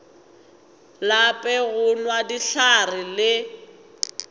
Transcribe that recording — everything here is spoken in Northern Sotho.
lape go nwa dihlare le